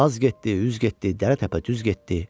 Az getdi, üz getdi, dərə-təpə düz getdi.